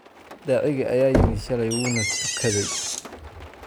Daacigii ayaa yimid shalay wuuna tukaday